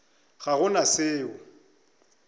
ga go na se o